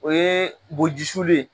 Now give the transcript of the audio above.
O ye boojisulu ye